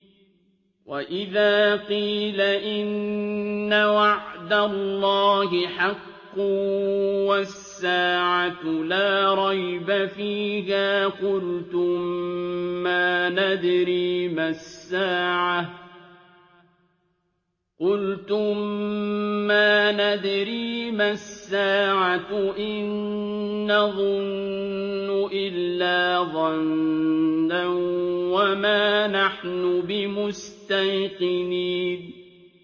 وَإِذَا قِيلَ إِنَّ وَعْدَ اللَّهِ حَقٌّ وَالسَّاعَةُ لَا رَيْبَ فِيهَا قُلْتُم مَّا نَدْرِي مَا السَّاعَةُ إِن نَّظُنُّ إِلَّا ظَنًّا وَمَا نَحْنُ بِمُسْتَيْقِنِينَ